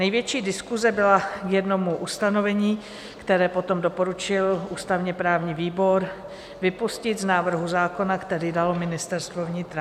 Největší diskuse byla k jednomu ustanovení, které potom doporučil ústavně-právní výbor vypustit z návrhu zákona, který dalo Ministerstvo vnitra.